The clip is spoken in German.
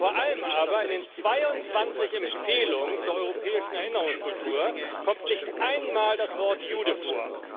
Vor allem aber In den 22 Empfehlungen zur europäischen Erinnerungskultur kommt nicht einmal das Wort Jude vor.